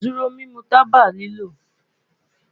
Duro mimu taba lile